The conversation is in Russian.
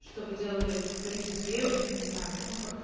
чтобы делали туризм свежим я не знаю ну как-то